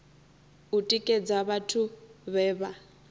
u tikedza vhathu vhe vha